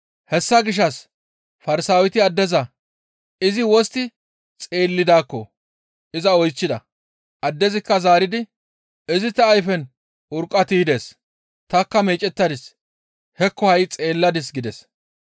Hessa gishshas Farsaaweti addeza izi wostti xeellidaakko iza oychchida. Addezikka zaaridi, «Izi ta ayfen urqqa tiydes; tanikka meecettadis; hekko ha7i xeelladis» gides.